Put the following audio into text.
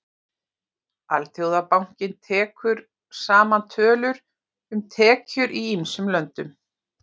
Alþjóðabankinn tekur saman tölur um tekjur í ýmsum löndum.